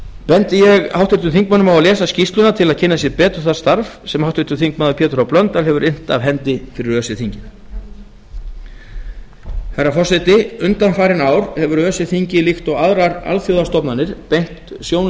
bendi ég háttvirtum þingmönnum á að lesa skýrsluna til að kynna sér betur það starf sem háttvirtur þingmaður pétur h blöndal hefur innt af hendi fyrir öse þingið herra forseti undanfarin ár hefur öse þingið líkt og aðrar alþjóðastofnanir beint sjónum